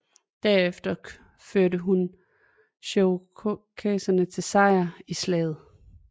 Derefter førte hun cherokeserne til sejr i slaget